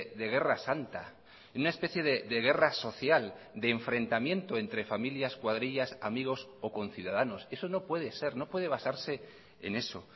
de guerra santa en una especie de guerra social de enfrentamiento entre familias cuadrillas amigos o conciudadanos eso no puede ser no puede basarse en eso